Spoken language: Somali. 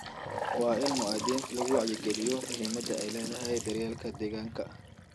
Waa in muwaadiniinta lagu wacyi geliyo muhiimadda ay leedahay daryeelka deegaanka.